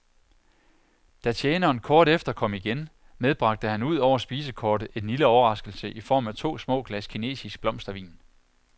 Da tjeneren kort efter kom igen, medbragte han udover spisekortet en lille overraskelse i form af to små glas kinesisk blomstervin.